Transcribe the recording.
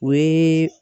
O ye